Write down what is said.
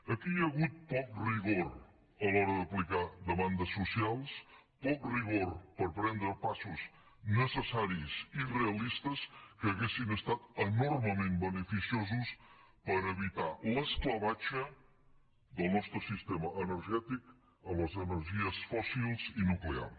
aquí hi ha hagut poc rigor a l’hora d’aplicar demandes socials poc rigor per prendre passos necessaris i realistes que haguessin estat enormement beneficiosos per evitar l’esclavatge del nostre sistema energètic a les energies fòssils i nuclear